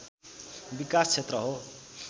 विकास क्षेत्र हो